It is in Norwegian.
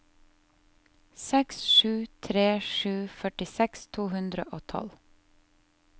seks sju tre sju førtiseks to hundre og tolv